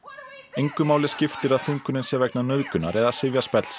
engu máli skiptir að þungunin sé vegna nauðgunar eða